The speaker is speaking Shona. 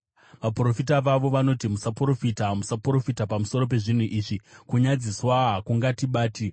Vaprofita vavo vanoti, “Musaprofita, musaprofita pamusoro pezvinhu izvi; kunyadziswa hakungatibati.”